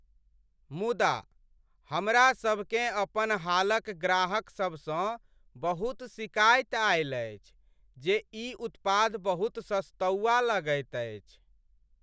मुदा, हमरा सभकेँ अपन हालक ग्राहक सबसँ बहुत शिकायत आयल अछि जे ई उत्पाद बहुत सस्तौआ लगैत अछि।